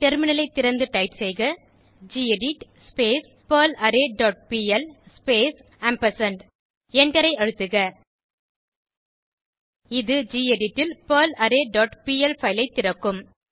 டெர்மினலை திறந்து டைப் செய்க கெடிட் பெர்லாரே டாட் பிஎல் ஸ்பேஸ் ஆம்பர்சாண்ட் எண்டரை அழுத்துக இது கெடிட் ல் பெர்லாரே டாட் பிஎல் பைல் ஐ திறக்கும்